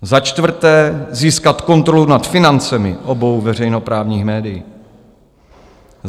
Za čtvrté, získat kontrolu nad financemi obou veřejnoprávních médií.